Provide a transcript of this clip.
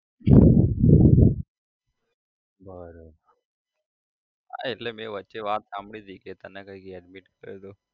બરોબર હા એટલે મે વચ્ચે વાત સાંભળી હતી કે તને કઈક admit કર્યો તો